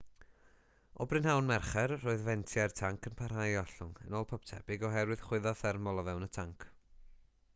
o brynhawn mercher roedd fentiau'r tanc yn parhau i ollwng yn ôl pob tebyg oherwydd chwyddo thermol o fewn y tanc